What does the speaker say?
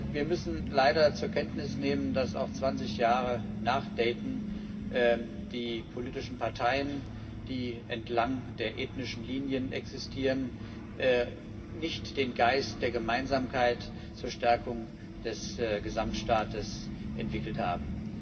Wir müssen leider zur Kenntnis nehmen, dass auch 20 Jahre nach Dayton die politischen Parteien, die entlang der ethnischen Linien existieren, nicht den Geist der Gemeinsamkeit zur Stärkung des Gesamtstaates entwickelt haben.